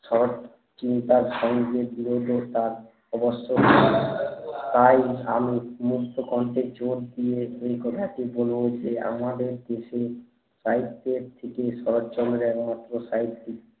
শরৎ চিন্তা ধরণের বিরোধে তার অবশ্যই তাই আমি মুক্ত কণ্ঠের জোর দিয়ে সেই কথাটি বলবো যে আমাদের দেশে সাহিত্যের থেকে শরৎচন্দ্রর এবং ওতো সাহিত্যিক